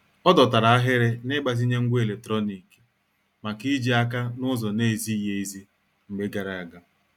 Ọ dọtara ahịrị n'igbazinye ngwá eletrọnịkị maka ijì aka n'ụzọ na-ezighị ezi mgbe gara aga.